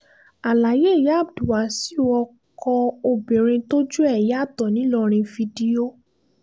àlàyé ìyá abdulwasaiu ọkọ obìnrin tójú ẹ̀ yàtọ̀ ńìlọrin fídíò